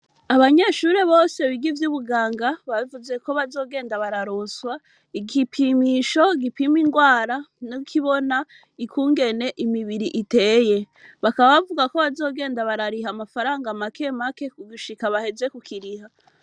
Abanyeshuri bose biga ivy'ubuganga bavuzeko bazogenda bararonswa igipimisho gipima indwara n'ikibona ukungene imibiri iteye. Bakaba bavugako bazogenda barariha amafaranga make make gushika baheze kukiriha.